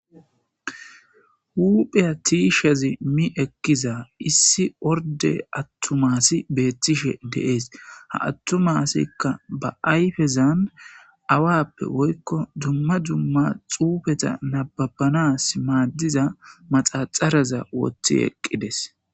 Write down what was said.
Hupha tishamizi ekiza orde atuma asiy betishe de'es, ha atuma asiyka ba ayfezan awappe woyko dumma dumma xufeta nababanas maadiza maxaxara wothi eqides